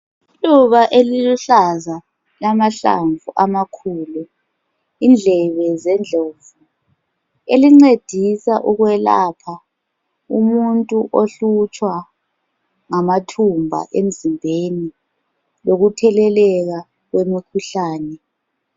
Iluba eliluhlaza, elilamahlamvu amakhulu indlebe zendlovu elincedisa ukwelapha umuntu ohlutshwa ngamathumba emzimbeni lokutheleka kwemikhuhlane.